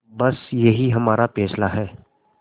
बस यही हमारा फैसला है